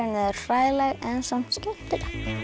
eru hræðileg en samt skemmtileg